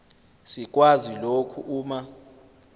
sikwazi lokhu uma